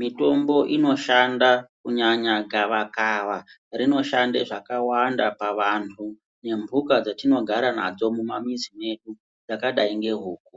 mitombo inoshanda kunyanya gava kava rinoshanda zvakawanda pavanhu nembuka dzatinogara kumamizi medu yakadai nehuku.